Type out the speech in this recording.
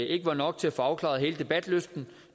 ikke var nok til at få afklaret hele debatten så